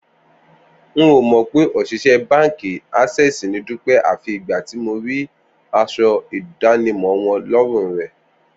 N ò mọ̀ pé òṣìṣẹ́ báǹkì Access ni Dúpẹ́ àfi ìgbà tí mo rí aṣọ ìdánimọ̀ wọn lọ́rùn rẹ̀